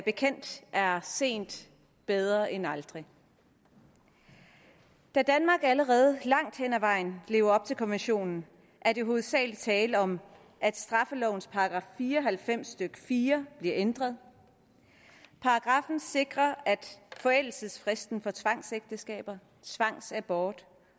bekendt er sent bedre end aldrig da danmark allerede langt hen ad vejen lever op til konventionen er der hovedsagelig tale om at straffelovens § fire og halvfems stykke fire bliver ændret paragraffen sikrer at forældelsesfristen for tvangsægteskaber tvangsabort